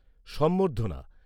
সংবর্ধনা